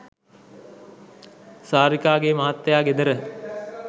සාරිකාගේ මහත්තයා ගෙදර